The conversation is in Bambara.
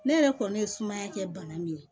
Ne yɛrɛ kɔni ye sumaya kɛ bana min ye